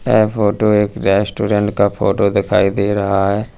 यह फोटो एक रेस्टोरेंट का फोटो दिखाई दे रहा है।